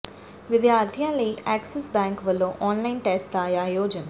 ਵਿਦਿਆਰਥੀਆਂ ਲਈ Axis Bank ਵੱਲੋਂ ਆਨਲਾਈਨ ਟੈਸਟ ਦਾ ਆਯੋਜਨ